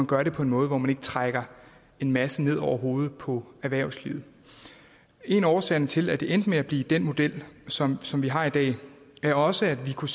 gør det på en måde hvor man ikke trækker en masse ned over hovedet på erhvervslivet en af årsagerne til at det endte med at blive den model som som vi har i dag er også at vi kunne